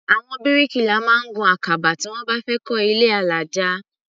Àwọn bíríkìlà máa ń gun àkàbà tí wọ́n bá fẹ́ kọ́ ilé alájà.